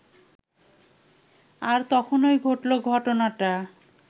আর তখনই ঘটল, ঘটনাটা